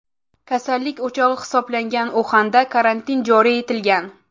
Kasallik o‘chog‘i hisoblangan Uxanda karantin joriy etilgan.